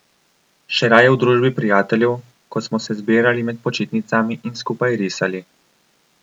Še raje v družbi prijateljev, ko smo se zbirali med počitnicami in skupaj risali.